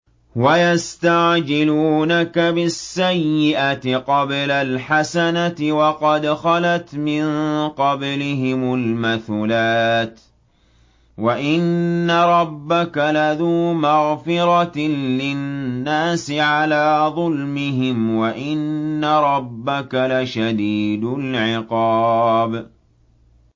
وَيَسْتَعْجِلُونَكَ بِالسَّيِّئَةِ قَبْلَ الْحَسَنَةِ وَقَدْ خَلَتْ مِن قَبْلِهِمُ الْمَثُلَاتُ ۗ وَإِنَّ رَبَّكَ لَذُو مَغْفِرَةٍ لِّلنَّاسِ عَلَىٰ ظُلْمِهِمْ ۖ وَإِنَّ رَبَّكَ لَشَدِيدُ الْعِقَابِ